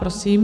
Prosím.